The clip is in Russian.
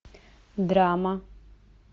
драма